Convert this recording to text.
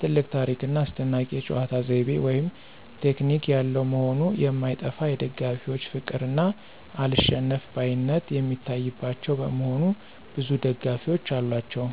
ትልቅ ታሪክ ና አስደናቂ የጨዋታ ዘይቤ (ቴክኒክ) ያለው መሆኑ የማይጠፋ የደጋፊዎች ፍቅር እና አልሸነፍባይነት የሚታይባቸው በመሆኑ ብዙ ደጋፊዎች አሏቸው።